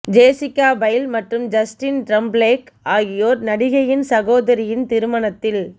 Jessica Biel மற்றும் Justin Timberlake ஆகியோர் நடிகையின் சகோதரரின் திருமணத்தில்